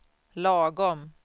lagom